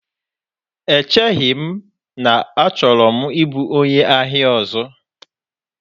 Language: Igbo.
Echeghị m na achọrọ m ịbụ onye ahịa ọzọ.